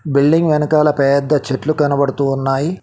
Building వెనకాల పెద్ద చెట్లు కనబడుతూ ఉన్నాయి.